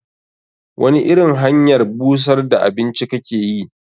Wani irin hanyar busar da abinci kake yi?